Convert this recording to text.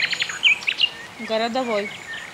городовой